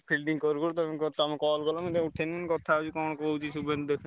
Fielding କରୁ କରୁ ତମେ call କଲ ଆଉ ମୁଁ ତ ଉଠେଇଲି କଥା ହଉଛି କଣ କହୁଛି ଶୁଭେନ୍ଦୁ ଦେଖେ।